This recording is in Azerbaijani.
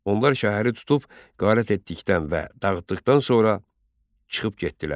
Onlar şəhəri tutub, qarət etdikdən və dağıtdıqdan sonra çıxıb getdilər.